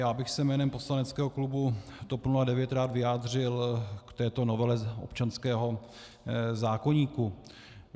Já bych se jménem poslaneckého klubu TOP 09 rád vyjádřil k této novele občanského zákoníku.